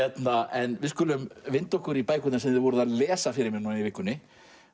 en við skulum vinda okkur í bækurnar sem þið voruð að lesa fyrir mig í vikunni